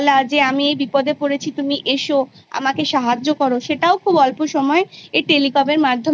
আমরা Generally জানি যে প্রথম একটা Primary Level থেকে পড়াশুনো শুরু হয় Class Five পর্যন্ত